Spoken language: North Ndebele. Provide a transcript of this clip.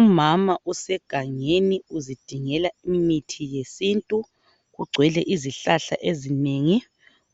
Umama osegangeni uzidingela imithi yesiNtu. kugcwele izihlahla ezinengi.